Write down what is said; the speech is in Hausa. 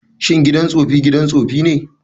Shin gidan tsofi gidan tsofi ne?